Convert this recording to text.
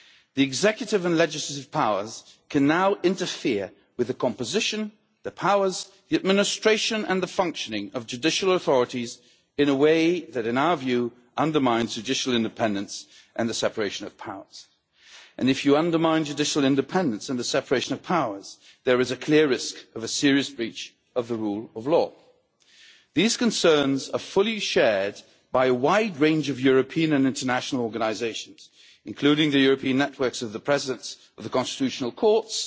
The executive and legislative powers can now interfere with the composition, the powers, the administration and the functioning of judicial authorities in a way that, in our view, undermines judicial independence and the separation of powers, and if you undermine judicial independence and the separation of powers, there is a clear risk of a serious breach of the rule of law. These concerns are fully shared by a wide range of European and international organisations, including the European networks of the Presidents of the Constitutional Courts,